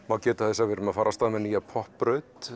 má geta þess að við erum að fara af stað með nýja